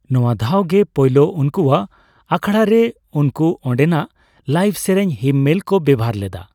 ᱱᱚᱭᱟᱹ ᱫᱷᱟᱣᱜᱮ ᱯᱳᱭᱞᱳ ᱩᱱᱠᱩᱣᱟᱜ ᱟᱠᱷᱲᱟ ᱨᱮ ᱩᱱᱠᱩ ᱚᱸᱰᱮᱱᱟᱜ ᱞᱟᱭᱤᱵᱷ ᱥᱮᱨᱮᱧ ᱦᱤᱢᱢᱮᱞ ᱠᱚ ᱵᱮᱣᱦᱟᱨ ᱞᱮᱫᱟ ᱾